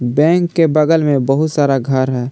Bank के बगल में बहुत सारा घर है।